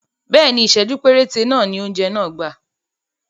Bẹ́ẹ̀ni, Ìsẹ̀jú péréte ni oúnjẹ náà gbà